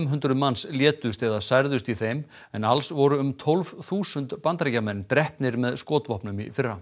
hundruð manns létust eða særðust í þeim en alls voru um tólf þúsund Bandaríkjamenn drepnir með skotvopnum í fyrra